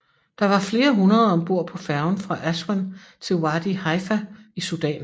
Der var flere hundrede om bord på færgen fra Aswan til Wadi Haifa i Sudan